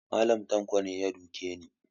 Mallam tanko ne ya duke ni